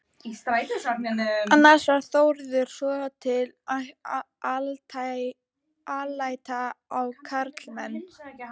Annars var Þórður svotil alæta á karlmenn.